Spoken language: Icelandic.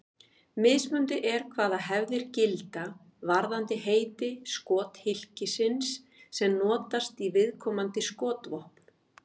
Mismunandi er hvaða hefðir gilda varðandi heiti skothylkisins sem notast í viðkomandi skotvopn.